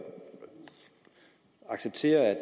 sige at